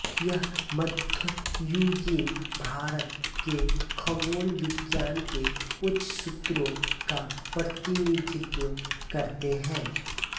यह मध्ययुगीन भारत के खगोल विज्ञान के उच्च सूत्रों का प्रतिनिधित्व करतें है